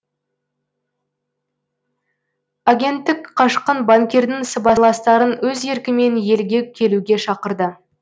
агенттік қашқын банкирдің сыбайластарын өз еркімен елге келуге шақырды